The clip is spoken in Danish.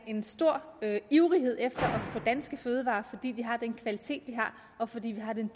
en stor ivrighed efter at fødevarer fordi de har den kvalitet de har og fordi vi har den